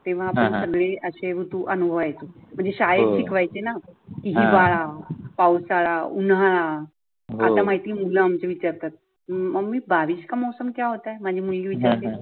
तेव्हा आपण सगळे असे ऋतू अनुभवायचो म्हणजे श्याळेत शिकवायच ना हिवाळा पावसाळा उन्हाळा. आता माहिती मुल आमचे विचारतात, मम्मी बारिश का मौसम क्या होता? माझे मुळी विचारते.